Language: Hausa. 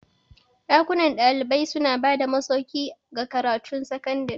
Dakunan kwanan dalibai suna ba da masauki ga makarantun sakandare.